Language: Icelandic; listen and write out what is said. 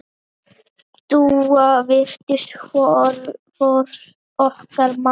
Dúa varð fyrst okkar mamma.